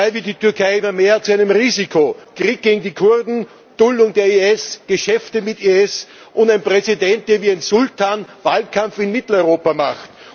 dabei wird die Türkei immer mehr zu einem Risiko Krieg gegen die Kurden, Duldung des IS, Geschäfte mit IS und ein Präsident, der wie ein Sultan Wahlkampf in Mitteleuropa macht.